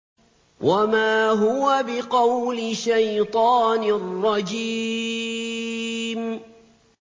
وَمَا هُوَ بِقَوْلِ شَيْطَانٍ رَّجِيمٍ